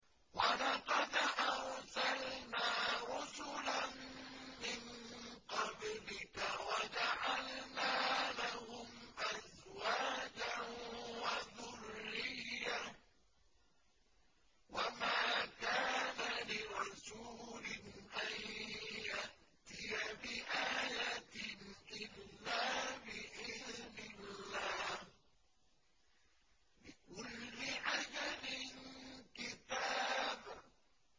وَلَقَدْ أَرْسَلْنَا رُسُلًا مِّن قَبْلِكَ وَجَعَلْنَا لَهُمْ أَزْوَاجًا وَذُرِّيَّةً ۚ وَمَا كَانَ لِرَسُولٍ أَن يَأْتِيَ بِآيَةٍ إِلَّا بِإِذْنِ اللَّهِ ۗ لِكُلِّ أَجَلٍ كِتَابٌ